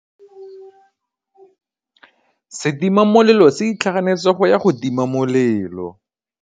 Setima molelô se itlhaganêtse go ya go tima molelô.